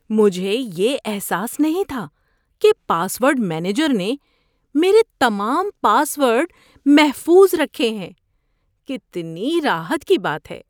مجھے یہ احساس نہیں تھا کہ پاس ورڈ مینیجر نے میرے تمام پاس ورڈ محفوظ رکھے ہیں۔ کتنی راحت کی بات ہے!